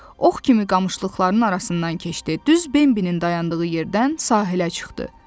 Ox kimi qamışlıqların arasından keçdi, düz Bembinin dayandığı yerdən sahilə çıxdı.